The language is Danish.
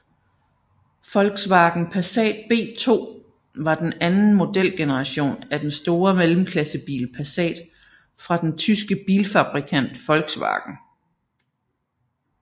Volkswagen Passat B2 var den anden modelgeneration af den store mellemklassebil Passat fra den tyske bilfabrikant Volkswagen